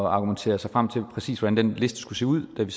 argumentere sig frem til præcis hvordan den liste skulle se ud da vi